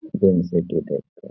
यहीं से --